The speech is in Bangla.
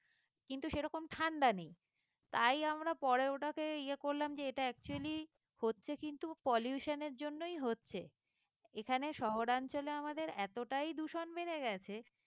কিন্তু সেরকম ঠাণ্ডা নেই তাই আমরা পরে ওটাকে ইয়ে করলাম যে এটা actually হচ্ছে কিন্তু pollution এর জন্যই হচ্ছে এখানে শহরাঞ্চলে আমাদের এতটাই দূষণ বেড়ে গেছে।